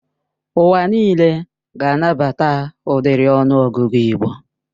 Ụwa nịle ga-anabata ụdiri ọnụ ọgụgụ igbo